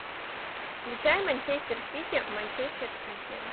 включай манчестер сити манчестер сити